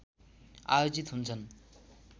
आयोजित हुन्छन्